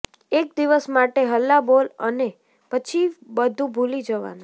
એક દિવસ માટે હલ્લા બોલ અને પછી બધુ ભૂલી જવાનું